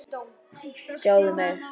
Sjáðu mig.